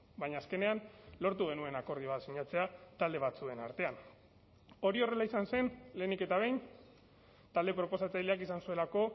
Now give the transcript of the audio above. baina azkenean lortu genuen akordio bat sinatzea talde batzuen artean hori horrela izan zen lehenik eta behin talde proposatzaileak izan zuelako